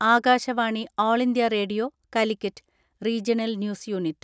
Akashvani all India radio Calicut regional news unit ).